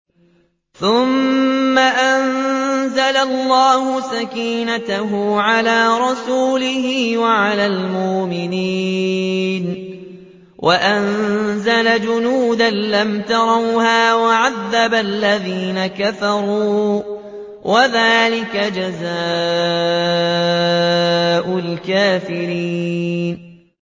ثُمَّ أَنزَلَ اللَّهُ سَكِينَتَهُ عَلَىٰ رَسُولِهِ وَعَلَى الْمُؤْمِنِينَ وَأَنزَلَ جُنُودًا لَّمْ تَرَوْهَا وَعَذَّبَ الَّذِينَ كَفَرُوا ۚ وَذَٰلِكَ جَزَاءُ الْكَافِرِينَ